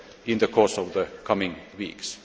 in the coming weeks.